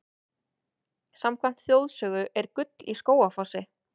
Samkvæmt þjóðsögu er gull í Skógafossi.